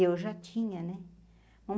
Eu já tinha, né?